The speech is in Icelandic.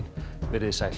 verið þið sæl